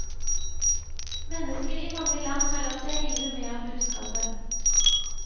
Mennesker i mange land har latt seg rive med av budskapet.